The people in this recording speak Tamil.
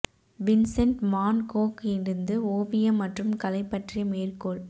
வின்சென்ட் வான் கோக் இருந்து ஓவியம் மற்றும் கலை பற்றிய மேற்கோள்